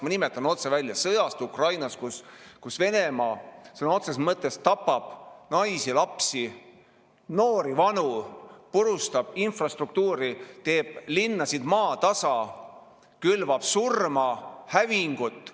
Ma nimetan otse välja: sõjast Ukrainas, kus Venemaa sõna otseses mõttes tapab naisi, lapsi, noori, vanu, purustab infrastruktuuri, teeb linnasid maatasa, külvab surma, hävingut.